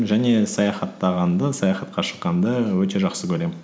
және саяхаттағанды саяхатқа шыққанды өте жақсы көремін